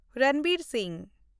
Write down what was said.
Ranbir Singh